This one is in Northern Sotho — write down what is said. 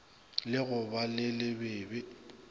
la go ba le lebebe